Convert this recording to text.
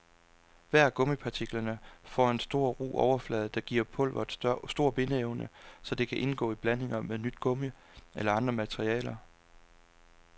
Hver af gummipartiklerne for en stor, ru overflade, der giver pulveret stor bindeevne, så det kan indgå i blandinger med nyt gummi eller andre materialer.